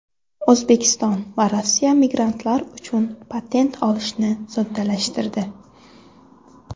O‘zbekiston va Rossiya migrantlar uchun patent olishni soddalashtirdi.